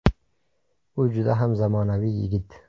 U juda ham zamonaviy yigit.